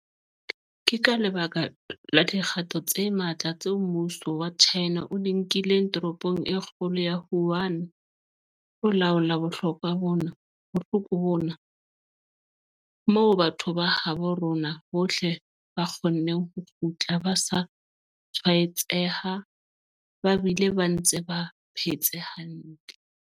Ke ka lebaka la dikgato tse matla tseo mmuso wa China o di nkileng toropong e kgolo ya Wuhan ho laola bohloko bona, moo batho ba habo rona bohle ba kgonneng ho kgutla ba sa tshwaetseha ba bile ba ntse ba phetse hantle.